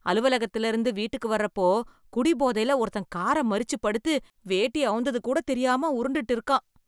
அலுவலகத்திலிருந்து வீட்டுக்கு வர்றப்போ, குடிபோதைல ஒருத்தன் கார மறிச்சு படுத்து, வேட்டி அவுந்ததுகூடத் தெரியாம உருண்டுட்டு இருக்கான்.